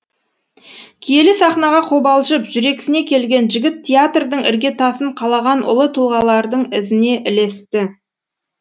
киелі сахнаға қобалжып жүрексіне келген жігіт театрдың іргетасын қалаған ұлы тұлғалардың ізіне ілесті